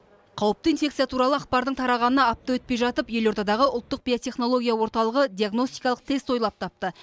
қауіпті инфекция туралы ақпардың тарағанына апта өтпей жатып елордадағы ұлттық биотехнология орталығы диагностикалық тест ойлап тапты